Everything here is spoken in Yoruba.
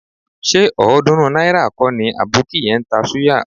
Ṣé ọ̀ọ́dúnrún náírà kọ́ ni àbókí yẹn ń ta súyà?